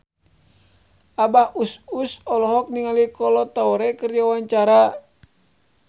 Abah Us Us olohok ningali Kolo Taure keur diwawancara